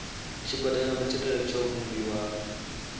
tshigwada tsha matshilele tsho vhumbiwa